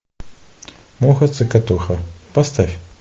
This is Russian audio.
муха цокотуха поставь